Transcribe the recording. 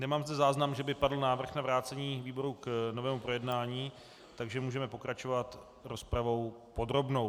Nemám zde záznam, že by padl návrh na vrácení výboru k novému projednání, takže můžeme pokračovat rozpravou podrobnou.